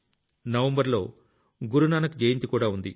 November లో గురునానక్ జయంతికూడా ఉంది